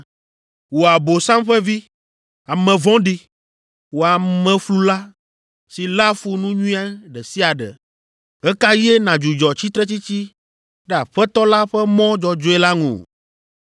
“Wò Abosam ƒe vi, ame vɔ̃ɖi, wò ameflula si léa fu nu nyui ɖe sia ɖe, ɣe ka ɣie nàdzudzɔ tsitretsitsi ɖe Aƒetɔ la ƒe mɔ dzɔdzɔe la ŋu?